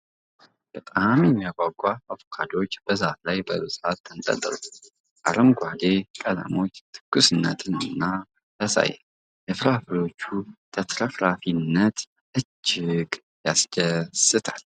ሲያምር ! በጣም የሚያጓጉ አቮካዶዎች በዛፉ ላይ በብዛት ተንጠልጥለዋል ። አረንጓዴ ቀለማቸው ትኩስነትን ያሳያል ። የፍራፍሬዎቹ ተትረፍራፊነት እጅግ ያስደስታል ።